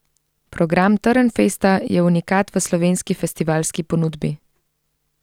Program Trnfesta je unikat v slovenski festivalski ponudbi.